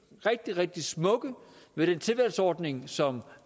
rigtig rigtig smukke ved den tilvalgsordning som